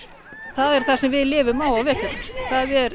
það er það sem við lifum á á veturna það er